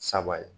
Saba ye